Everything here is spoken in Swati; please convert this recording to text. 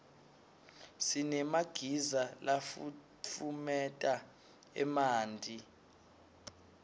sinemagiza lafutfumeta emanti